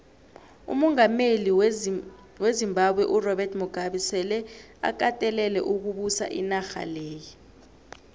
umongameli wezimbabwe urobert mugabe sele akatelele ukubusa inarha leya